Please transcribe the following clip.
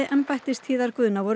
voru miklar væntingar